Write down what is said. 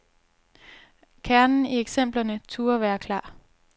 Kernen i eksemplerne turde være klar.